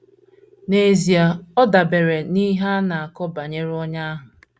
N’ezie, ọ dabeere n’ihe a na - akọ banyere onye ahụ.